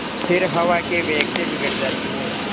फिर हवा के वेग से बिगड़ जाती हैं